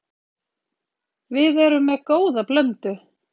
Við erum með góða blöndu.